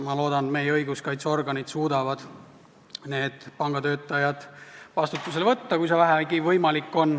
Ma loodan, et meie õiguskaitseorganid suudavad need pangatöötajad vastutusele võtta, kui see vähegi võimalik on.